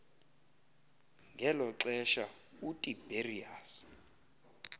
ngelo xesha utiberius